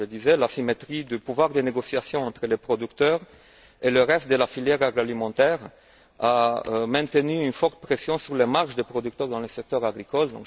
Comme je le disais, l'asymétrie du pouvoir de négociation entre les producteurs et le reste de la filière agroalimentaire a maintenu une forte pression sur les marges des producteurs dans le secteur agricole.